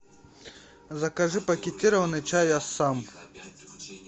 закажи пакетированный чай ассам